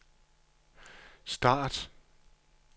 start